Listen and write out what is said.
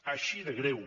així de greu